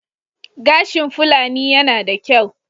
Gashin Fulani yana da kyau.